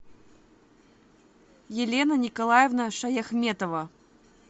елена николаевна шаяхметова